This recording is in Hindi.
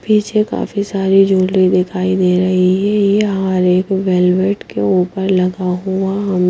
पीछे काफी सारी झूगलि ज्वैलरी दिखाई दे रही है यह हर एक वेलवेट के ऊपर लगा हुआअ --